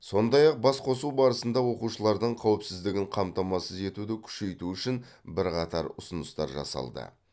сондай ақ басқосу барысында оқушылардың қауіпсіздігін қамтамасыз етуді күшейту үшін бірқатар ұсыныстар жасалды